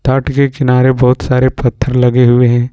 तट के किनारे बहुत सारे पत्थर लगे हुए हैं।